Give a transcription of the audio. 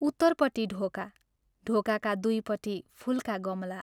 उत्तरपट्टि ढोका, ढोकाका दुइपट्टि फूलका गमला।